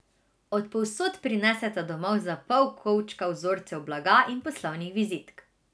Od povsod prineseta domov za pol kovčka vzorcev blaga in poslovnih vizitk.